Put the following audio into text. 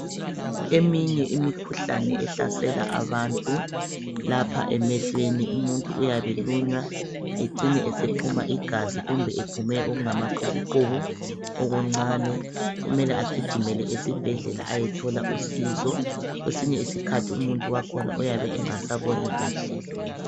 Eminye imikhuhlane ehlasela abantu lapha emehlweni umuntu uyabe elunywa ecine esephuma igazi kumbe ephume okungama qhubu qhubu okuncane kumele egijimele esibhedlela eyethola usizo kwesinye iskhathi umuntu wakhona uyabe engasa boni kuhle.